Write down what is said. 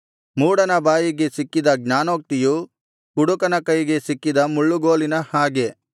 ಮೂಢನ ಬಾಯಿಗೆ ಸಿಕ್ಕಿದ ಜ್ಞಾನೋಕ್ತಿಯು ಕುಡುಕನ ಕೈಗೆ ಸಿಕ್ಕಿದ ಮುಳ್ಳುಗೋಲಿನ ಹಾಗೆ